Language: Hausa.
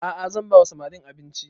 A'a zan ba wa samarin abinci